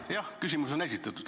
Jah, küsimus on esitatud.